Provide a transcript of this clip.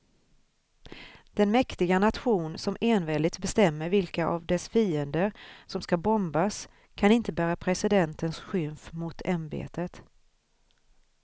Den mäktiga nation som enväldigt bestämmer vilka av dess fiender som ska bombas kan inte bära presidentens skymf mot ämbetet.